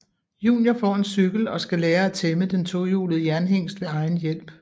Junior får en cykel og skal lære at tæmme den tohjulede jernhingst ved egen hjælp